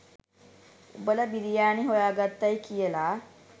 උඹල බිරියානි හොයාගත්තයි කියල.